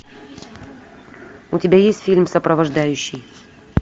у тебя есть фильм сопровождающий